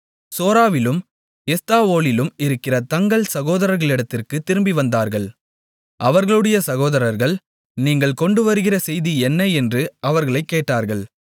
சோராவிலும் எஸ்தாவோலிலும் இருக்கிற தங்கள் சகோதரர்களிடத்திற்குத் திரும்பிவந்தார்கள் அவர்களுடைய சகோதரர்கள் நீங்கள் கொண்டுவருகிற செய்தி என்ன என்று அவர்களைக் கேட்டார்கள்